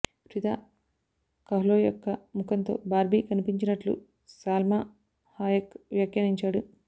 Freida Kahlo యొక్క ముఖంతో Barbie కనిపించినట్లు సాల్మా హాయెక్ వ్యాఖ్యానించాడు